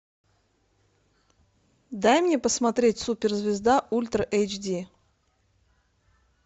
дай мне посмотреть суперзвезда ультра эйч ди